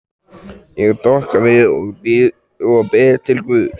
Ég doka við og bið til guðs.